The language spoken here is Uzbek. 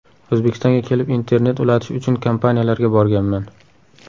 O‘zbekistonga kelib, internet ulatish uchun kompaniyalarga borganman.